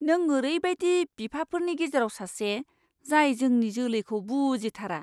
नों ओरैबायदि बिफाफोरनि गेजेराव सासे, जाय जोंनि जोलैखौ बुजिथारा!